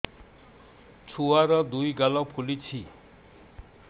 ଛୁଆର୍ ଦୁଇ ଗାଲ ଫୁଲିଚି